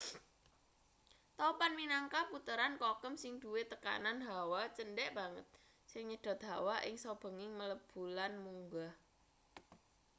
topan minangka puteran kokem sing duwe tekanan hawa cendhek banget sing nyedhot hawa ing saubenging mlebu lan munggah